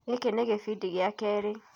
Gĩkĩ nĩ kĩbindi gĩa kerĩ.